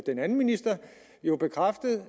den anden minister jo bekræftet